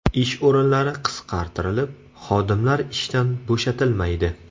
Ish o‘rinlari qisqartirilib, xodimlar ishdan bo‘shatilmaydi.